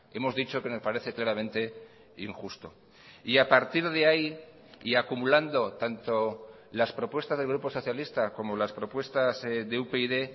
hemos dicho que nos parece claramente injusto y a partir de ahí y acumulando tanto las propuestas del grupo socialista como las propuestas de upyd